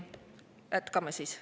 Jätkame siis.